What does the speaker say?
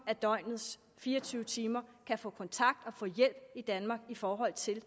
af døgnets fire og tyve timer kan få kontakt og hjælp i danmark i forhold til